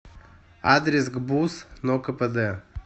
адрес гбуз нокпд